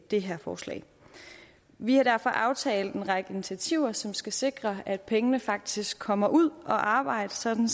det her forslag vi har derfor aftalt en række initiativer som skal sikre at pengene faktisk kommer ud at arbejde sådan